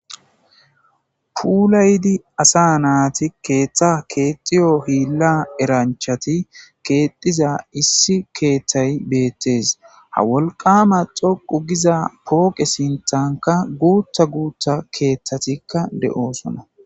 Pullayidi asa naata kexxiyo hilla eranchchatti kexxiza issi keththay bettes. Ha wolqqamma dhoqqza poqqe sinththankka guththta guththta keththattikka de'soona.